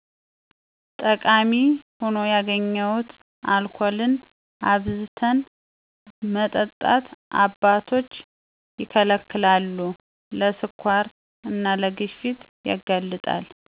ጠቃሚ ሁኖ ያገኘሁት አልኮልን አብዝተን መጠጣት አባቶች ይከለከላሉ ለ ስኳር እና ለግፊት ያጋልጣል